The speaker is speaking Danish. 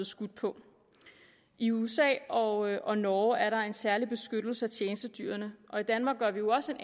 skudt på i usa og og norge er der en særlig beskyttelse af tjenestedyrene og i danmark gør vi jo også en